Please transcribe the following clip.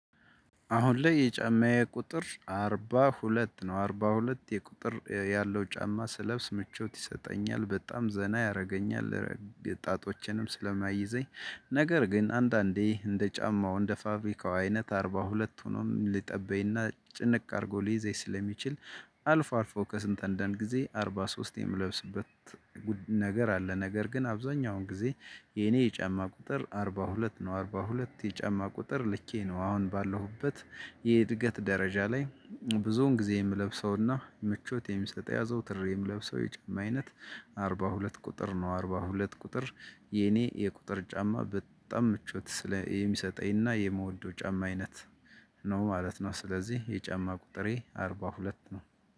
አሁን ላይ የጫማዬ ቁጥር አርባ ሁለት ነው አርባ ሁለት የቁጥር ያለው ጫማ ስለብስ ምቾት ይሰጠኛል በጣም ዘና ያደርገኛል። ጣቶችንም ስለማይይዘኝ ነገር ግን አንዳንዴ እንደ ጫማው እንደ ፋብሪካው አይነት አርባ ሁለቱንም ሊጠበኝና ጭንቅ አድርጎ ሊይዘይ ስለሚችል። አልፎ አልፎ ከስንት አንዳንድ ጊዜ አርባ ሶስት የምለብስበት። ነገር አለ ነገር ግን አብዛኛውን ጊዜ የኔ የጫማ ቁጥር አርባ ሁለት ነው አርባ ሁለት የጫማ ቁጥር ልኬ ነው። አሁን ባለሁበት የእድገት ደረጃ ላይ ብዙውን ጊዜ የምለብሰውና ምቾት የሚሰጠው አዘዉትሬ ምለብሰው የጫማ አይነት አርባ ሁለት ቁጥር ነው። አርባ ሁለት ቁጥር የኔ የቁጥር ጫማ በጣም ምቾት ስለ የሚሰጠኝና የምወደው ጫማ አይነት ነው ማለት ነው። ስለዚህ የጫማ ቁጥሬ አርባ ሁለት ነው